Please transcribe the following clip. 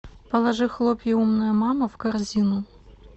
положи хлопья умная мама в корзину